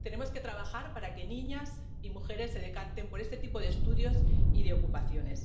Tenemos que trabajar para que niñas y mujeres se decanten por este tipo de estudios y de ocupaciones.